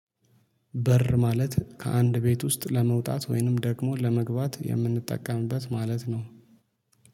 በር ማለት ከአንድ ቤት ውስጥ ለመውጣት ወይንም ደግሞ ለመግባት የምንጠቀምበት ማለት ነው